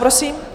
Prosím.